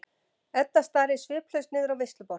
Edda starir sviplaus niður á veisluborð.